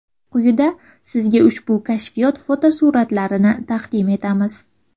Quyida sizga ushbu kashfiyot fotosuratlarini taqdim etamiz.